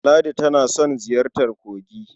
Ladi tana son ziyartar kogi.